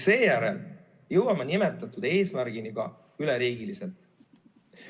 Seejärel jõuame selle eesmärgini ka üleriigiliselt.